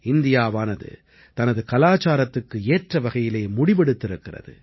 இந்தியாவானது தனது கலாச்சாரத்துக்கு ஏற்றவகையில் முடிவெடுத்திருக்கிறது